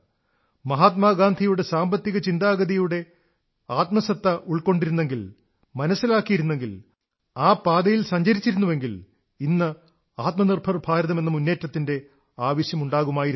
മഹാത്മാഗാന്ധിയുടെ സാമ്പത്തിക ചിന്താഗതിയുടെ സ്പിരിറ്റിനെ ഉൾക്കൊണ്ടിരുന്നെങ്കിൽ മനസ്സിലാക്കിയിരുന്നെങ്കിൽ ആ പാതയിൽ സഞ്ചരിച്ചിരുന്നെങ്കിൽ ഇന്ന് ആത്മനിർഭർ ഭാരതമെന്ന മുന്നേറ്റത്തിന്റെ ആവശ്യമുണ്ടാകുമായിരുന്നില്ല